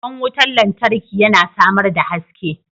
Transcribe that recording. Kwan wutar lantarki yana samar da haske.